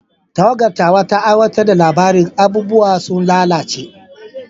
Tawagar tawa ta aiwatar da labarin "Abubuwa sun lalace".